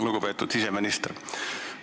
Lugupeetud siseminister!